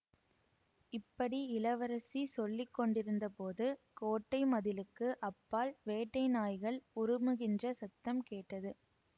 இப்படி இளவரசி சொல்லி கொண்டிருந்தபோது கோட்டை மதிலுக்கு அப்பால் வேட்டை நாய்கள் உறுமுகின்ற சத்தம் கேட்டது